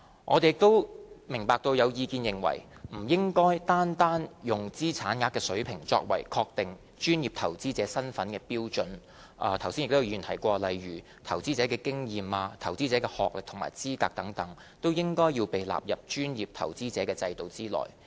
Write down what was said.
我們也明白到有意見認為不應單單用資產額水平作為確定專業投資者身份的標準，剛才亦有議員提到，例如投資經驗及投資者的學歷或資格，亦應被納入專業投資者制度內。